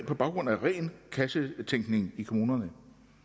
på baggrund af ren kassetænkning i kommunerne